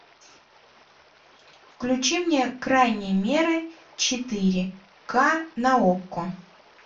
включи мне крайние меры четыре ка на окко